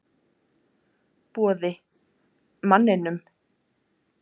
Boði: Manninum?